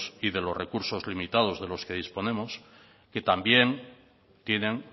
y de los recursos limitados de los que disponemos que también tienen